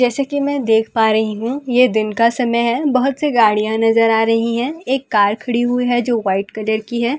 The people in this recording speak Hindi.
जैसा की मैं देख पा रही हूँ ये दिन का समय है बहुत सी गाडियाँ नज़र आ रही है एक कर खड़ी हुई है जो वाइट कलर की है और एक औ --